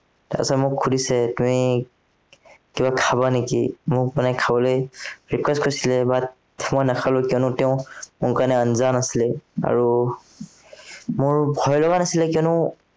তাৰপিছত মোক সুধিছে তুমি, কিবা খাবা নেকি, মোক মানে খাবলৈ request কৰিছিলে but মই নাখালো, কিয়নো তেওঁ মোৰ বাৰে আছিলে। আৰু মোৰ ভয় লগা নাছিলে কিয়নো